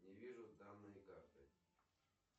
не вижу данные карты